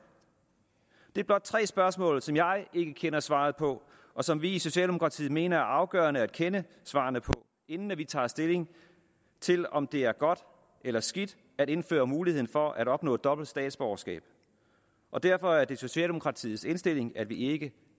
det er blot tre spørgsmål som jeg ikke kender svarene på og som vi i socialdemokratiet mener afgørende at kende svarene på inden vi tager stilling til om det er godt eller skidt at indføre muligheden for at opnå dobbelt statsborgerskab og derfor er det socialdemokratiets indstilling at vi ikke